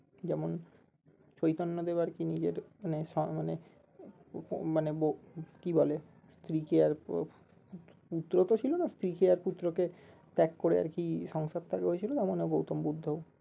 যেমন চৈতন্য দেব আরকি নিজের মানে মানে উপ মানে বউ কি বলে স্ত্রী কে আর পুত্র তো ছিল না স্ত্রী কে আর পুত্র কে ত্যাগ করে আর কি সংসার ত্যাগ হয়েছিল যেমন এ গৌতম বুদ্ধও